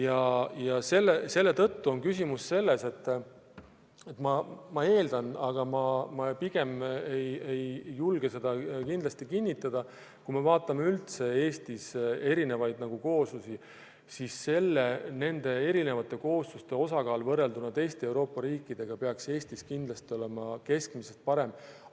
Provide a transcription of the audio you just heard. Aga mis puutub erinevatesse kooslustesse, siis ma eeldan – ma pigem ei julge seda raudselt kinnitada –, et kui me vaatame üldse Eestis olevaid kooslusi, siis erinevate koosluste osakaal võrrelduna teiste Euroopa riikidega peaks Eestis olema keskmisest parem.